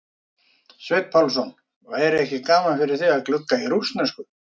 Sveinn Pálsson: væri ekki gaman fyrir þig að glugga í rússnesku?